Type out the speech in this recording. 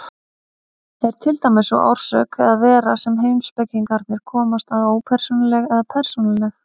Er til dæmis sú orsök eða vera sem heimspekingarnir komast að ópersónuleg eða persónuleg?